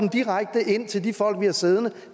direkte ind til de folk vi har siddende